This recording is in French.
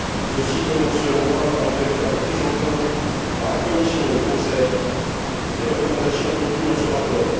Ceci commence, selon moi, par une véritable prise en compte, par la Commission et le Conseil, des recommandations contenues dans ce rapport.